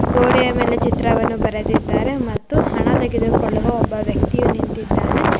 ಗೋಡೆಯ ಮೇಲೆ ಚಿತ್ರವನ್ನು ಬರೆದಿದ್ದಾರೆ ಮತ್ತು ಹಣ್ಣ ತೆಗೆದುಕೊಳ್ಳುವ ಒಬ್ಬ ವ್ಯಕ್ತಿಯು ನಿಂತಿದಾನೆ.